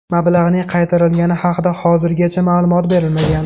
Mablag‘ning qaytarilgani haqida hozirgacha ma’lumot berilmagan.